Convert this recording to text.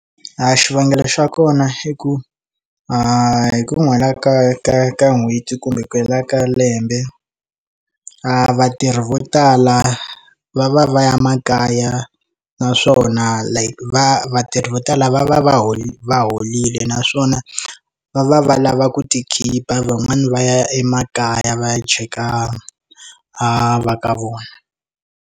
A xivangelo xa kona i ku hi ku hela ka ka ka n'hweti kumbe ku hela ka lembe a vatirhi vo tala va va va ya makaya like naswona va vatirhi vo tala va va va holile naswona va va va lava ku ti khipha van'wani va ya emakaya va ya cheka va ka vona.